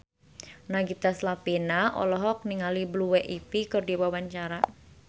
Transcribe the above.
Nagita Slavina olohok ningali Blue Ivy keur diwawancara